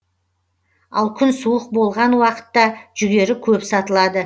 ал күн суық болған уақытта жүгері көп сатылады